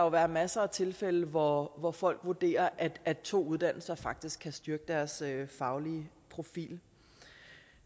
være masser af tilfælde hvor hvor folk vurderer at to uddannelser faktisk kan styrke deres faglige profil